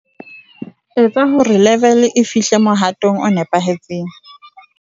Eketsa hore level e fihle mohatong o nepahetseng.